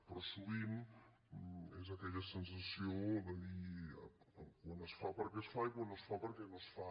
però sovint és aquella sensació de dir quan es fa perquè es fa i quan no es fa perquè no es fa